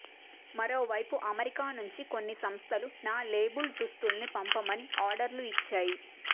మరోవైపు అమెరికా నుంచి కొన్ని సంస్థలు నా లేబుల్దుస్తుల్ని పంపమని అర్డర్లు ఇచ్చాయి